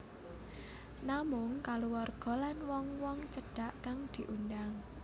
Namung kaluwarga lan wong wong cedhak kang diundhang